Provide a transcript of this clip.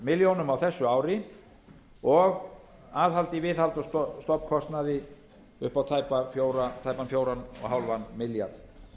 milljónir á þessu ári og aðhald í viðhalds og stofnkostnaði upp á tæpan fjögur og hálfan milljarð